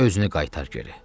Özünü qaytar geri.